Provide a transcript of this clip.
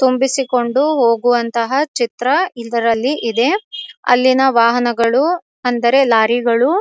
ತುಂಬಿಸಿಕೊಂಡು ಹೋಗುವಂತಹ ಚಿತ್ರ ಇದರಲ್ಲಿ ಇದೆ ಅಲ್ಲಿನ ವಾಹನಗಳು ಅಂದರೆ ಲಾರಿಗಳು --